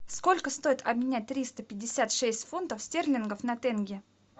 сколько стоит обменять триста пятьдесят шесть фунтов стерлингов на тенге